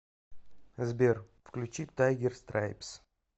сбер включи тайгер страйпс